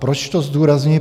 Proč to zdůrazňuji?